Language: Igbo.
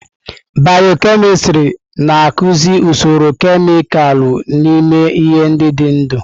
Bịyọ-kemịstrị na-akụzi usoro kemịkalụ n'ime ihe ndị dị ndụ.